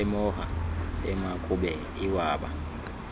emoha emakube iwaba